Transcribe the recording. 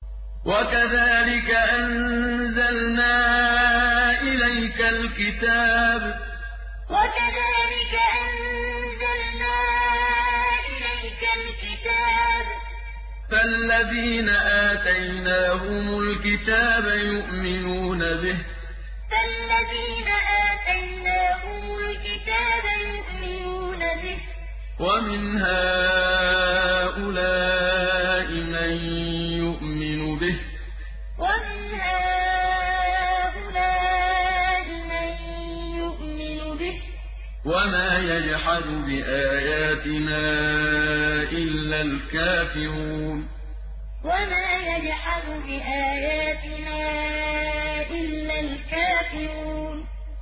وَكَذَٰلِكَ أَنزَلْنَا إِلَيْكَ الْكِتَابَ ۚ فَالَّذِينَ آتَيْنَاهُمُ الْكِتَابَ يُؤْمِنُونَ بِهِ ۖ وَمِنْ هَٰؤُلَاءِ مَن يُؤْمِنُ بِهِ ۚ وَمَا يَجْحَدُ بِآيَاتِنَا إِلَّا الْكَافِرُونَ وَكَذَٰلِكَ أَنزَلْنَا إِلَيْكَ الْكِتَابَ ۚ فَالَّذِينَ آتَيْنَاهُمُ الْكِتَابَ يُؤْمِنُونَ بِهِ ۖ وَمِنْ هَٰؤُلَاءِ مَن يُؤْمِنُ بِهِ ۚ وَمَا يَجْحَدُ بِآيَاتِنَا إِلَّا الْكَافِرُونَ